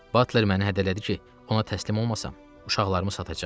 Batler məni hədələdi ki, ona təslim olmasam, uşaqlarımı satacaq.